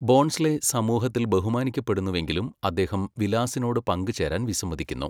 ബോൺസ്ലെ സമൂഹത്തിൽ ബഹുമാനിക്കപ്പെടുന്നുവെങ്കിലും അദ്ദേഹം വിലാസിനോട് പങ്കുചേരാൻ വിസമ്മതിക്കുന്നു.